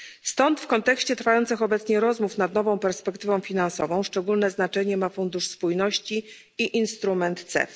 Stąd w kontekście trwających obecnie rozmów nad nową perspektywą finansową szczególne znaczenie ma Fundusz Spójności i instrument C.